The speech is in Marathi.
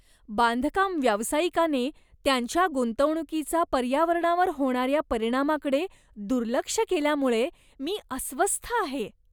बांधकाम व्यावसायिकाने त्यांच्या गुंतवणुकीचा पर्यावरणावर होणाऱ्या परिणामाकडे दुर्लक्ष केल्यामुळे मी अस्वस्थ आहे.